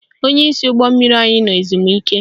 Onyeisi ụgbọ anyị nọ ezumike